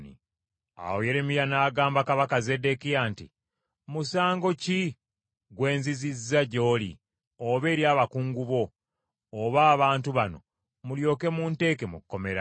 Awo Yeremiya n’agamba Kabaka Zeddekiya nti, “Musango ki gwe nzizizza gy’oli oba eri abakungu bo oba abantu bano; mulyoke munteeke mu kkomera?